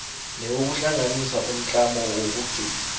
newokuhlanganisa umtlamo wokugcina